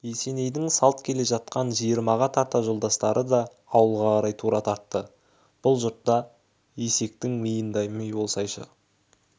есенейдің салт келе жатқан жиырмаға тарта жолдастары да ауылға қарай тура тартты бұл жұртта есектің миындай ми болсайшы